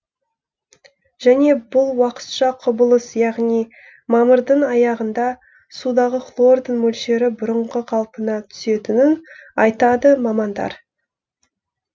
және бұл уақытша құбылыс яғни мамырдың аяғында судағы хлордың мөлшері бұрынғы қалпына түсетінін айтады мамандар